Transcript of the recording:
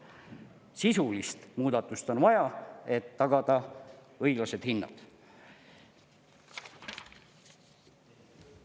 Sisulist muudatust on vaja, et tagada õiglased hinnad.